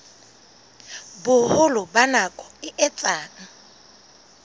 boholo ba nako e etsang